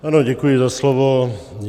Ano, děkuji za slovo.